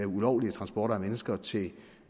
ulovlige transporter af mennesker til